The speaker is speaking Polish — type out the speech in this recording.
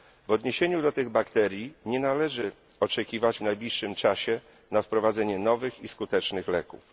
W odniesieniu do tych bakterii nie należy oczekiwać w najbliższym czasie na wprowadzenie nowych i skutecznych leków.